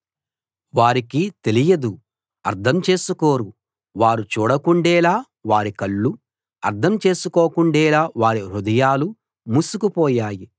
వారికి తెలియదు అర్థం చేసుకోరు వారు చూడకుండేలా వారి కళ్ళు అర్థం చేసుకోకుండేలా వారి హృదయాలు మూసుకుపోయాయి